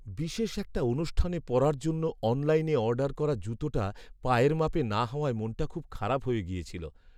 বিশেষ একটা অনুষ্ঠানে পরার জন্য অনলাইনে অর্ডার করা জুতোটা পায়ের মাপে না হওয়ায় মনটা খুব খারাপ হয়ে গিয়েছিল।